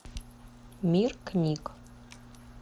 мир книг